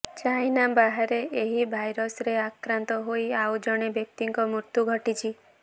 China ବାହାରେ ଏହି ଭାଇରସରେ ଆକ୍ରାନ୍ତ ହୋଇ ଆଉ ଜଣେ ବ୍ୟକ୍ତିଙ୍କ ମୃତ୍ୟୁ ଘଟିଛି